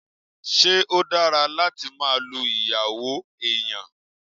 Ṣé ó dára láti máa lu ìyàwó èèyàn?